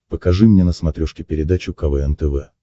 покажи мне на смотрешке передачу квн тв